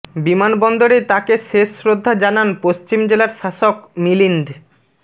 বিমানবন্দরে তাকে শেষ শ্রদ্ধা জানান পশ্চিম জেলার শাসক মিলিন্দ